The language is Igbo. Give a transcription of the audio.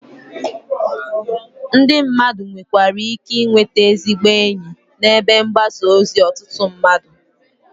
Ndị mmadụ nwekwara ike ị nwete ezigbo enyi ebe mgbasa ozi ọtụtụ mmadụ.